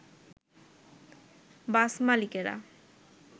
বাস মালিকেরা